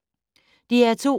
DR2